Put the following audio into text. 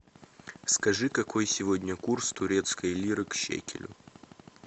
скажи какой сегодня курс турецкой лиры к шекелю